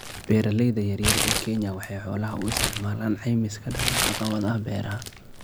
Beeralayda yar yar ee Kenya waxay xoolaha u isticmaalaan caymis ka dhan ah caqabadaha beeraha.